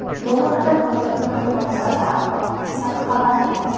Bu haqda poytaxt prokuraturasi axborot xizmati xabar berdi .